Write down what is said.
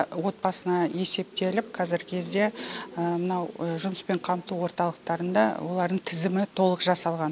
отбасына есептеліп қазіргі кезде мынау жұмыспен қамту орталықтарында олардың тізімі толық жасалған